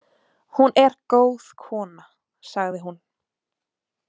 Hún er góð kona, sagði hún.